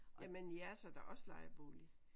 Jamen jeres er da også lejebolig